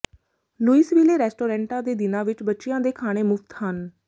Louisville ਰੈਸਟੋਰੈਂਟਾਂ ਦੇ ਦਿਨਾਂ ਵਿਚ ਬੱਚਿਆਂ ਦੇ ਖਾਣੇ ਮੁਫਤ ਹਨ